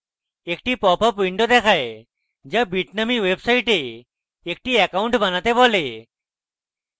একটি popup window দেখায় যা bitnami website একটি অ্যাকাউন্ট বানাতে হবে